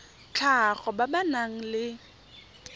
tlhago ba ba nang le